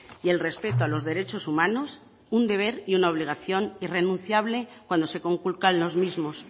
y el respeto a los derechos humanos un deber y una obligación irrenunciable cuando se conculcan los mismos